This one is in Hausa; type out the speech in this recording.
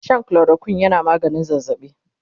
Shan chloroquine yana maganin zazzabi